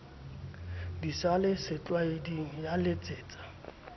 di sa le setlwaeding yaletsetsa